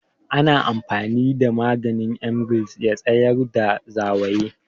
Ana amfani da maganin Emgil ya tsayar da zawayi